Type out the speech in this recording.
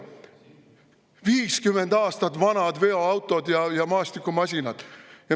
Meil on 50 aastat vanad veoautod ja maastikumasinad!